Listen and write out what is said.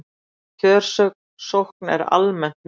Kjörsókn er almennt mikil